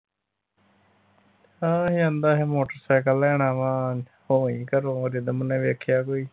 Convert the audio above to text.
ਹਾਂ ਹੀ ਆਂਦਾ ਸੀ ਮੋਟਰਸਾਈਕਲ ਲੈਣਾ ਵਾ ਹੋ ਆਈ ਘਰੋ ਰਿਦਮ ਨੇ ਵੇਖਿਆ ਕੋਈ।